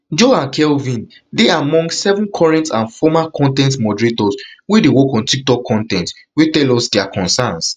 jo and kelvin dey among seven current and former con ten t moderators wey dey work on tiktok con ten t wey tell us dia concerns